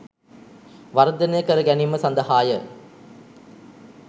වර්ධනය කර ගැනීම සඳහාය.